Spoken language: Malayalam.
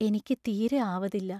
എനിക്കു തീരെ ആവതില്ല.